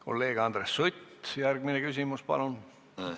Kolleeg Andres Sutt, järgmine küsimus, palun!